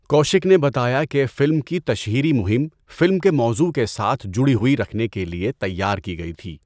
کوشک نے بتایا کہ فلم کی تشہیری مہم 'فلم کے موضوع کے ساتھ جڑی ہوئی' رکھنے کے لیے تیار کی گئی تھی۔